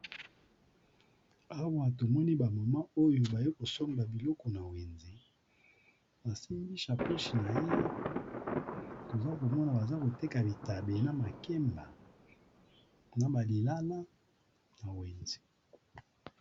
Awa to moni ba mama oyo baye kosomba biloko na wenze. Ba simbi shakoshi na ye. Toza ko mona baza koteka bitabe na makemba na ba lilala na wenze.